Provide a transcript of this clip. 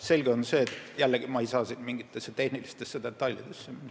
Selge on see, et ma ei saa siin jällegi mingitesse tehnilistesse detailidesse minna.